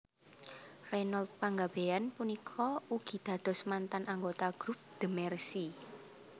Reynold Panggabean punika ugi dados mantan anggota group The Mercy